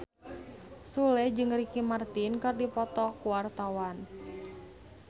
Sule jeung Ricky Martin keur dipoto ku wartawan